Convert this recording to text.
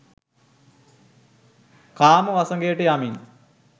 කාම වසඟයට යමින්